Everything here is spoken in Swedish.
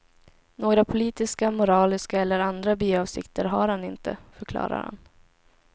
Några politiska, moraliska eller andra biavsikter har han inte, förklarar han.